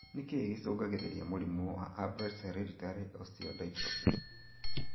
Nĩkĩ gĩcũngagĩrĩria mũrimũ wa Albright's hereditary osteodystrophy?